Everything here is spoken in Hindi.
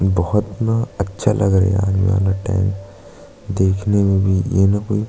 बहुत इतना अच्छा लग रहा है यार ये वाला टाइम देखने में भी ये न कोई --